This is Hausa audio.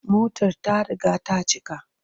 Motar ta riga ta cika.